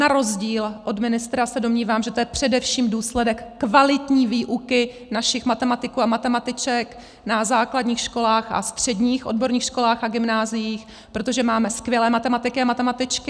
Na rozdíl od ministra se domnívám, že to je především důsledek kvalitní výuky našich matematiků a matematiček na základních školách a středních odborných školách a gymnáziích, protože máme skvělé matematiky a matematičky.